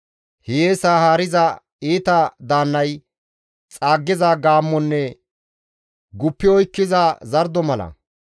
Hiyeesa haariza iita daannay xaaggiza gaammonne guppi oykkiza zardo mala.